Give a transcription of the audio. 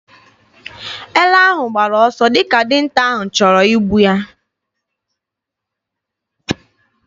Ele ahụ gbara ọsọ dịka dinta ahụ chọrọ igbu ya.